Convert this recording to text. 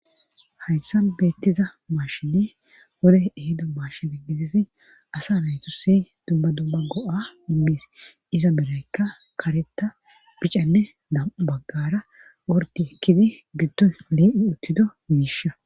Hayssa beettiza maashini wode ehido maashin gizizi asa naytusi dumba dumma go'a immis iza beraykka kareta picanne dam'u baggara worti ekkidi giddoy lee'i uttido miisha.